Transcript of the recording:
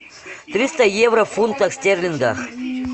триста евро в фунтах стерлингах